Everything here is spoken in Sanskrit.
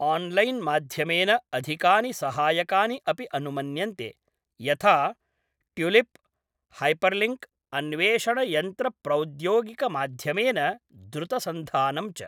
आन्लैन् माध्यमेन अधिकानि सहायकानि अपि अनुमन्यन्ते, यथा ट्युलिप्, हैपर्लिङ्क्, अन्वेषणयन्त्रप्रौद्योगिकमाध्यमेन द्रुतसन्धानं च ।